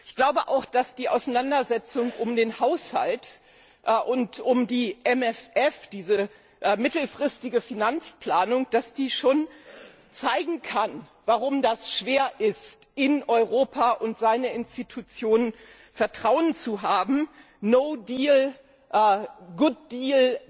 Ich glaube auch, dass die Auseinandersetzung um den Haushalt und um den MFR, diese mittelfristige Finanzplanung, schon zeigen kann, warum es schwer ist, in Europa und seine Institutionen Vertrauen zu haben No deal, good deal,